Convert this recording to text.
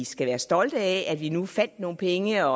skal være stolte af at vi nu fandt nogle penge